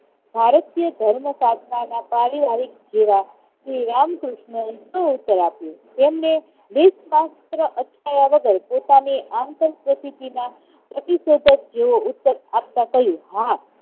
ભારતીય ધર્મસાધના ના પારિવારિક જેવા શ્રી રામકૃષ્ણએ શો ઉત્તર આપ્યો. તેમણે લેશ માત્ર અચકાયા વગર પોતાની પ્રતીશોધક જેવો ઉત્તર આપતા કહ્યું, હા.